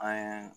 An ye